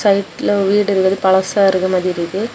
லெஃப்ட்ல வீடுங்க பலசா இருக்கற மாதிரி இருக்கு.